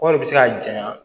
Kɔɔri bɛ se ka janɲa